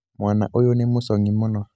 mwana ũyũ nĩ mũcong'i mũno